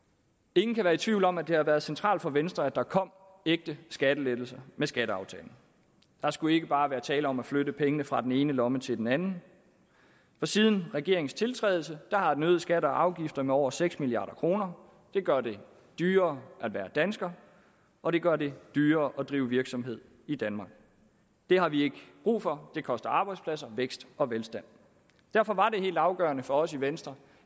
ingen kan være i tvivl om at det har været centralt for venstre at der kom ægte skattelettelser med skatteaftalen der skulle ikke bare være tale om at flytte pengene fra den ene lomme til den anden for siden regeringens tiltrædelse har den øget skatter og afgifter med over seks milliard kroner det gør det dyrere at være dansker og det gør det dyrere at drive virksomhed i danmark det har vi ikke brug for det koster arbejdspladser vækst og velstand derfor var det helt afgørende for os i venstre